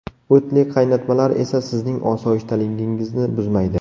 O‘tli qaynatmalar esa sizning osoyishtaligingizni buzmaydi.